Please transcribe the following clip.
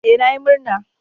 Ee, na yi murna.